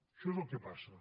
això és el que passa